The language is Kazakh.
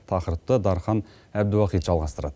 тақырыпты дархан әбдіуахит жалғастырады